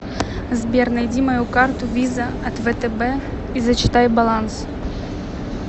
сбер найди мою карту виза от втб и зачитай баланс